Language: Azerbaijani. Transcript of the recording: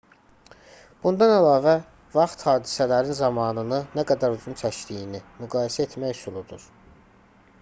bundan əlavə vaxt hadisələrin zamanını nə qədər uzun çəkdiyini müqayisə etmə üsuludur